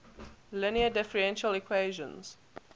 linear differential equations